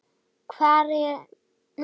Hvað er svið?